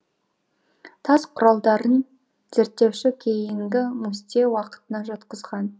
тас құралдарын зерттеуші кейінгі мустье уақытына жатқызған